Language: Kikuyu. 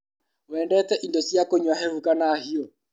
Wendete indo cia kũnyua hehu kana hiũ.